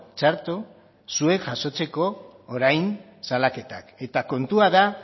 txarto zuek jasotzeko orain salaketak eta kontua da